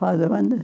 Para onde?